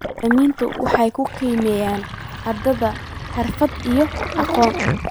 Macallimiintu waxay ku qalabeeyeen ardayda xirfado iyo aqoon.